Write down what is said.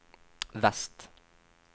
vest